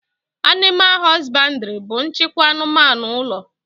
Animal hosbandiri bu nchịkwa anụmanụ ụlọ